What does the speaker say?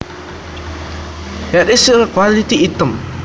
Here is a quality item